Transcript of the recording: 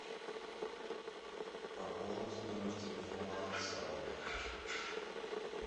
пополнить номер телефона отца